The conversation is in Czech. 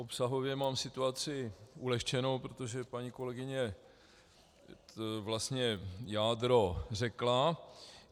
Obsahově mám situaci ulehčenou, protože paní kolegyně vlastně jádro řekla.